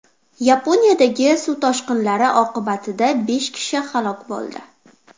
Yaponiyadagi suv toshqinlari oqibatida besh kishi halok bo‘ldi.